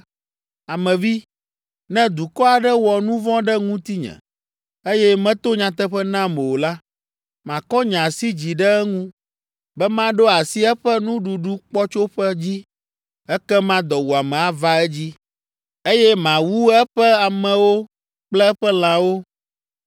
“Ame vi, ne dukɔ aɖe wɔ nu vɔ̃ ɖe ŋutinye, eye meto nyateƒe nam o la, makɔ nye asi dzi ɖe eŋu be maɖo asi eƒe nuɖuɖukpɔtsoƒe dzi; ekema dɔwuame ava edzi, eye mawu eƒe amewo kple eƒe lãwo,